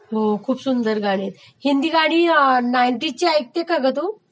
हो खूप सुंदर गाणी आहेत, हिंदी गाणी नाइन्टाज ची गाणी ऐकते का ग तू?